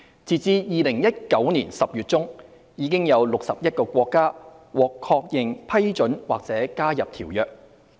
截至2019年10月中，已有61個國家獲確認批准或加入《馬拉喀什條約》。